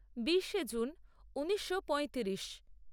বিশে জুন ঊনিশো পঁয়ত্রিশ